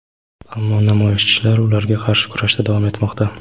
ammo namoyishchilar ularga qarshi kurashda davom etmoqda.